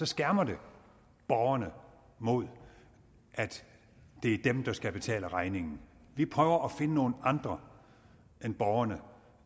skærmer det borgerne mod at det er dem der skal betale regningen vi prøver at finde nogle andre end borgerne